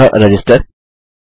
अतः रजिस्टर